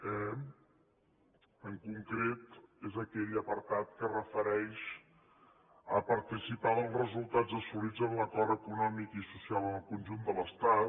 e en concret és aquell apartat que es refereix a participar dels resultats assolits en l’acord econòmic i social en el conjunt de l’estat